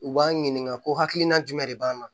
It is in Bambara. U b'an ɲininka ko hakilina jumɛn de b'an na